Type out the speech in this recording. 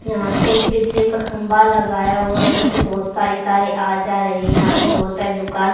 यहां पे एक बिजली का खम्बा लगाया हुआ है उसमे से बहुत सारी तारे आ जा रही है यहाँ पे बहुत सारी दुकान --